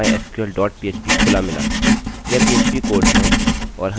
ठीक है तो मुझे मेरा mysql dot php खुला मिला